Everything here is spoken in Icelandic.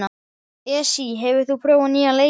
Esí, hefur þú prófað nýja leikinn?